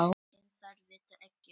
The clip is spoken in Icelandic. En þær vita ekkert.